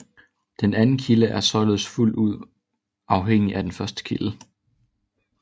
Den anden kilde er således fuldt ud afhængig af den første kilde